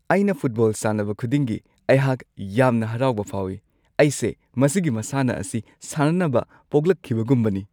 ꯑꯩꯅ ꯐꯨꯠꯕꯣꯜ ꯁꯥꯟꯅꯕ ꯈꯨꯗꯤꯡꯒꯤ, ꯑꯩꯍꯥꯛ ꯌꯥꯝꯅ ꯍꯔꯥꯎꯕ ꯐꯥꯎꯏ꯫ ꯑꯩꯁꯦ ꯃꯁꯤꯒꯤ ꯃꯁꯥꯟꯅ ꯑꯁꯤ ꯁꯥꯟꯅꯅꯕ ꯄꯣꯛꯂꯛꯈꯤꯕꯒꯨꯝꯕꯅꯤ꯫